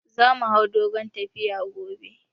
Za mu hau dogon tafiya gobe